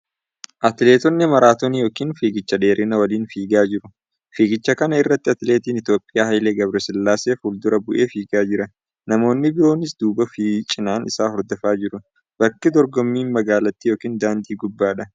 Atileetonni maratoonii yookiin fiigicha dheerinaa waliin fiigaa jiru. Fiigicha kana irratti atileetiin Itoophiyaa Hayilee Gabresillaasee fuuldura bu'ee fiigaa jira. Namoonni biroonis duubaa fi cinaan isa hordofaa jiru. Bakki dorgommiin magaalatti yookiin daandii gubbaadha.